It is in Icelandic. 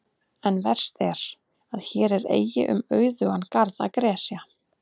En verst er, að hér er eigi um auðugan garð að gresja.